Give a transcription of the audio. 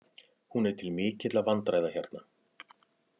Hún er til mikilla vandræða hérna.